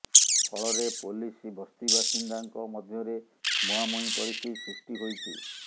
ଫଳରେ ପୋଲିସ ବସ୍ତି ବାସିନ୍ଦାଙ୍କ ମଧ୍ୟରେ ମୁହାଁମୁହିଁ ପରିସ୍ଥିତି ସୃଷ୍ଟି ହୋଇଛି